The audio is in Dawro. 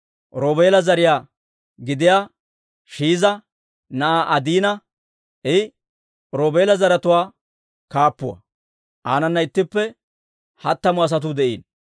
Roobeela zariyaa gidiyaa Shiiza na'aa Adiina. I Roobeela zaratuwaa kaappuuwaa; aanana ittippe hattamu asatuu de'iino.